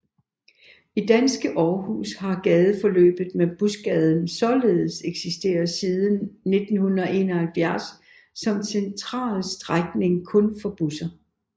I danske Aarhus har gadeforløbet med Busgaden således eksisteret siden 1971 som en central strækning kun for busser